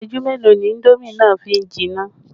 Isẹju mélòó ni indomi a fi jìnnà?